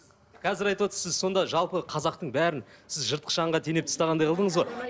қазір айтып отырсыз сіз сонда жалпы қазақтың бәрін сіз жыртқыш аңға теңеп тастағандай қылдыңыз ғой